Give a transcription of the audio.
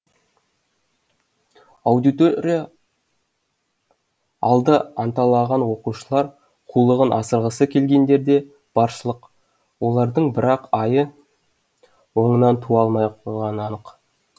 аудитория алды анталаған оқушылар қулығын асырғысы келгендер де баршылық олардың бірақ айы оңынан туа алмай қоймағаны анық